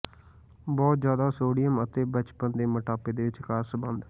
ਬਹੁਤ ਜ਼ਿਆਦਾ ਸੋਡੀਅਮ ਅਤੇ ਬਚਪਨ ਦੇ ਮੋਟਾਪੇ ਦੇ ਵਿਚਕਾਰ ਸੰਬੰਧ